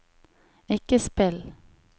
ikke spill